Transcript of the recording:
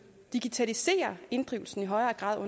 digitalisere inddrivelsen i højere grad og